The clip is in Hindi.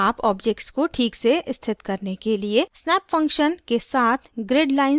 आप objects को ठीक से स्थित करने के लिए snap function के साथ grid lines को प्रयोग कर सकते हैं